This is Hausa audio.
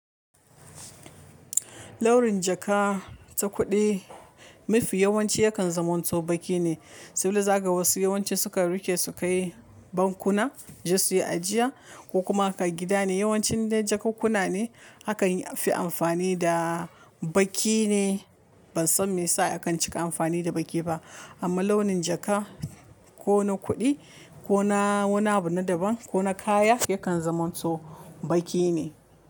Ɗaurin jaka ta kuɗi, mafi yawanci yakan zamo sau baki ne, saboda zaga wasu yawanci sukan riƙe su kai bankuna, suje su yi ajiya ko kuma ka gida ne. Yawanci indai jakunkuna ne akanfi amfani da baki ne. Ban san me yasa akan cika amfani da baki ba, amma launin jaka ko na kuɗi ko na wani abu na daban ko na kaya yakan zamanto baƙi ne.